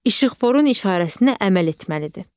İşıqforun işarəsinə əməl etməlidir.